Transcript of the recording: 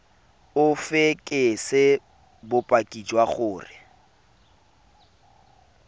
o fekese bopaki jwa gore